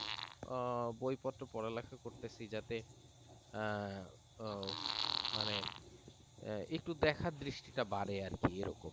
বই পত্র পড়া লেখা করতেছি যাতে আহ মানে একটু দেখার দৃষ্টিটা বাড়ে